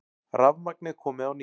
Rafmagnið komið á ný